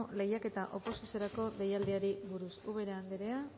lehiaketa oposiziorako deialdiari buruz ubera anderea